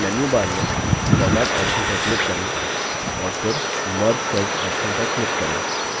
फिर menu bar में format option पर click करें और फिर merge cells option पर click करें